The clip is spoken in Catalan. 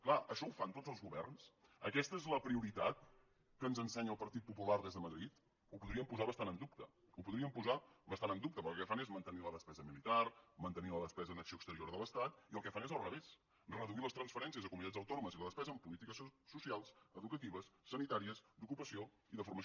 clar això ho fan tots els governs aquesta és la prioritat que ens ensenya el partit popular des de madrid ho podríem posar bastant en dubte ho podríem posar bastant en dubte perquè el que fan és mantenir la despesa militar mantenir la despesa en acció exterior de l’estat i el que fan és al revés reduir les transferències a comunitats autònomes i la despesa en polítiques socials educatives sanitàries d’ocupació i de formació